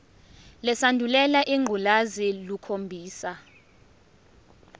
lesandulela ngculazi lukhombisa